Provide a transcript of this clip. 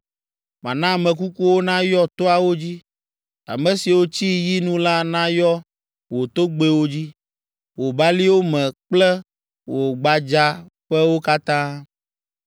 Mana ame kukuwo nayɔ toawo dzi, ame siwo tsi yi nu la nayɔ wò togbɛwo dzi, wò baliwo me kple wò gbadzaƒewo katã.